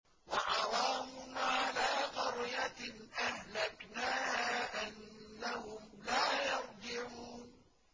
وَحَرَامٌ عَلَىٰ قَرْيَةٍ أَهْلَكْنَاهَا أَنَّهُمْ لَا يَرْجِعُونَ